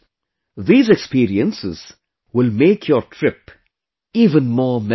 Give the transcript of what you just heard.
These experiences will make your trip even more memorable